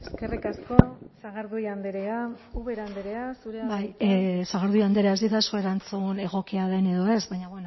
eskerrik asko sagardui andrea ubera andrea zurea da hitza sagardui andrea ez didazu erantzun egokia den edo ez baina